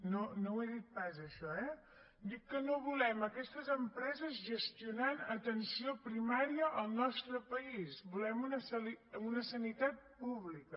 no ho he dit pas això eh dic que no volem aquestes empreses gestionant atenció primària al nostre país volem una sanitat pública